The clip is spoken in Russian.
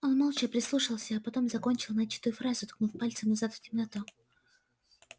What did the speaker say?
он молча прислушался а потом закончил начатую фразу ткнув пальцем назад в темноту